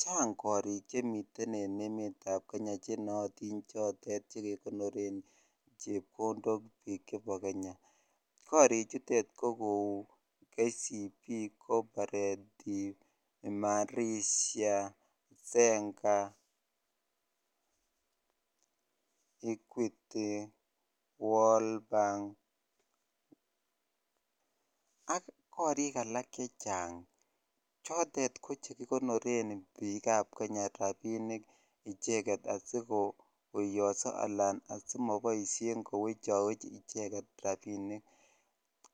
Chaang karik chemiten eng emet ap kenyaa chekonoree rapisheek karii chutok kouu che kilee equity ,world bank ak alak chechang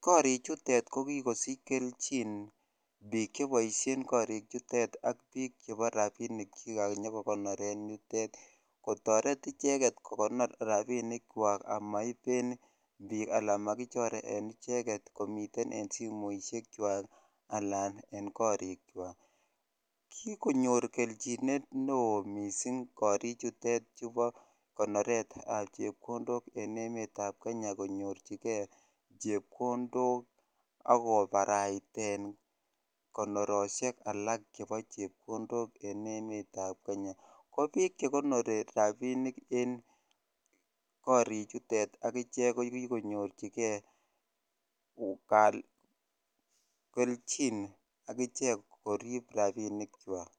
karii chutok ko kikosich kelchiin kotar icheget makichoreen rapisheek komitei eng simosheek kwaak kikonyor chikilisheet ko piik chekonori rapisheeek eng yutok ko kikonyorchigeeii kelchiin eng kariik kwaak